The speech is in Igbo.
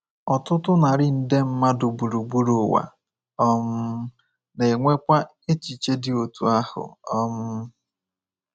Ọtụtụ narị nde mmadụ gburugburu ụwa um na-enwekwa echiche dị otú ahụ. um